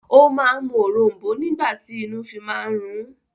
O máa ń mú òrom̀bó nígbà tí inú fi máa ń rún